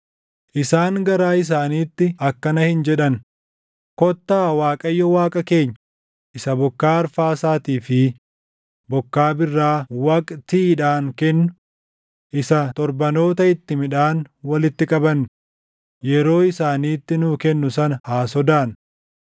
Isaan garaa isaaniitti akkana hin jedhan; ‘Kottaa Waaqayyo Waaqa keenya isa bokkaa arfaasaatii fi // bokkaa birraa waqtiidhaan kennu, isa torbanoota itti midhaan walitti qabannu yeroo isaaniitti nuu kennu sana haa sodaannu.’